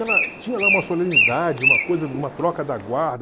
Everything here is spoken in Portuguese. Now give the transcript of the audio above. tinha lá uma solenidade, uma coisa, uma troca da guarda.